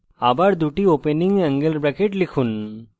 আবার দুটি opening angle brackets লিখুন